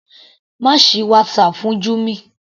Má sì WhatsApp fún Jummy.